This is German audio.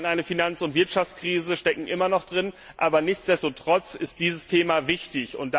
Wir hatten eine Finanz und Wirtschaftskrise, stecken immer noch drin, aber nichtsdestotrotz ist dieses Thema wichtig.